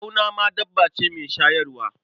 Ɓauna ma dabba ce mai shayarwa.